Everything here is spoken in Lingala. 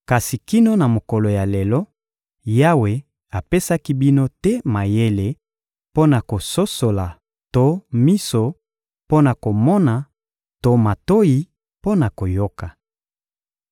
Kasi kino na mokolo ya lelo, Yawe apesaki bino te mayele mpo na kososola to miso mpo na komona to matoyi mpo na koyoka.